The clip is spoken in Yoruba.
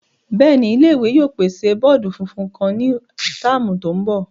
Bẹẹni, ile-iwe yoo pese bọọdu funfun kan ni tạmu tin bo.